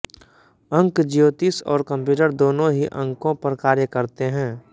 अंक ज्योतिष और कम्प्यूटर दोनों ही अंकों पर कार्य करते हैं